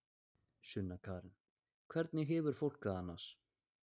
Sunna Karen: Hvernig hefur fólk það annars?